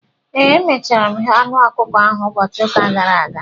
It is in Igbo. ee, emechara m ghee anụ ọkụkọ ahụ ụbọchị ụka gara aga